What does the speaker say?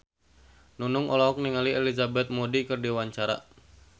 Nunung olohok ningali Elizabeth Moody keur diwawancara